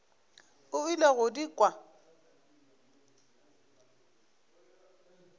o ile go di kwa